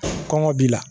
Kɔngɔ b'i la